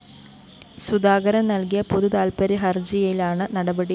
സുധാകരന്‍ നല്‍കിയ പൊതുതാല്‍പ്പര്യ ഹര്‍ജിയിലാണ് നടപടി